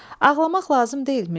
Ağlamaq lazım deyil, Mirzə.